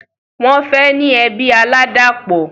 Wọ́n fẹ́ ní ẹbí aládàpọ̀